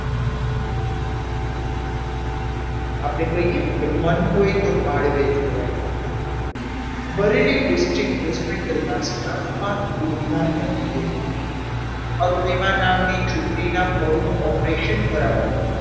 આપણે કહીએ ને કે મન હોય તો માંડવે જવાય બરેલી district hospital staff માં દોડધામ મચી ગઈ હતી અરુણિમા નામની છોકરીનું પગનું operation કરાવવાનું હતું.